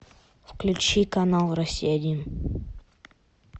включи канал россия один